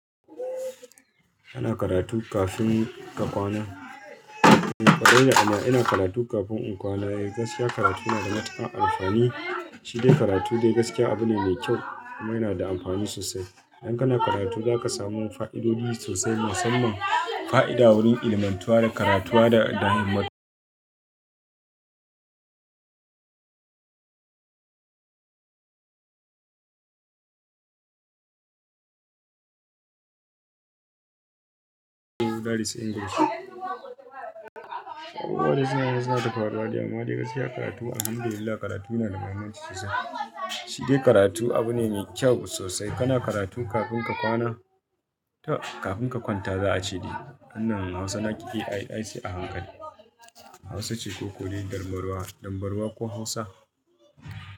Ana karatu kafin ka kwana. Amma ina karatu kafin in kwana. Gaskiya karatu yana da matuƙan amfani. Shi dai karatu dai gaskiya abu ne mai kyau kuma yana da amfani sosai. Idan kana karatu za ka samu fa'idodi sosai musamman fa'ida wurin ilmantuwa da karatuwa da ɗahimma. Abubuwa dai suna nan suna ta faruwa dai amma dai gaskiya karatu alhamdulillah karatu yana da mahimmanci sosai. Shi dai karatu abu ne mai kyau sosai. Kana karatu kafin ka kwana to kafin ka kwanta za a ce de. Wannan Hausa na ƙi in ai sai hankali. Hausa ce ko kodai, dambarwa, dambarwa ko Hausa?